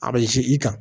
A bɛ i kan